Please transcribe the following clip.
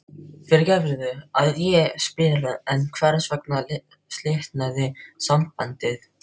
Fyrirgefðu að ég spyr en hvers vegna slitnaði sambandið?